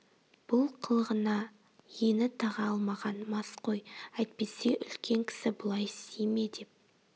бұл қылығына ені таға алмаған мас қой әйтпесе үлкен кісі бұлай істей ме деп